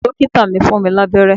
Dókítà mi fún mi lábẹ́rẹ́